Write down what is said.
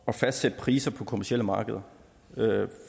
at fastsætte priser på kommercielle markeder